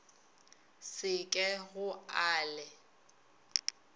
se ke go a le